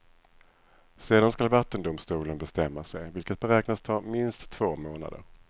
Sedan skall vattendomstolen bestämma sig, vilket beräknas ta minst två månader.